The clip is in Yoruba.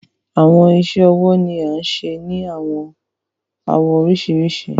Awọn iṣẹ-ọwọ ni a ń ṣe ni awọn awọ oriṣirisi